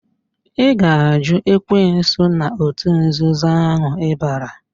Ị ga-àjụ́ ekwensu na òtù nzuzo ahụ ịbara?